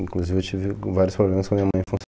Inclusive eu tive vários problemas com a minha mãe em função.